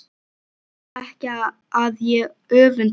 Vita ekki að ég öfunda þau.